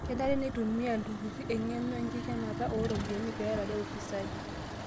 Kenare neitumia iltururi eng'eno enkikenata oo ropiyiani pee eerare ufisadi